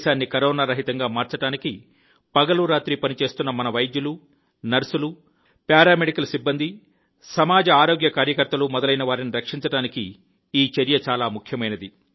దేశాన్ని కరోనా రహితంగా మార్చడానికి పగలు రాత్రి పనిచేస్తున్న మన వైద్యులు నర్సులు పారా మెడికల్ సిబ్బంది సమాజ ఆరోగ్య కార్యకర్తలు మొదలైనవారిని రక్షించడానికి ఈ చర్య చాలా ముఖ్యమైనది